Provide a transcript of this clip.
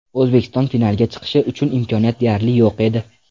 O‘zbekiston finalga chiqishi uchun imkoniyat deyarli yo‘q edi.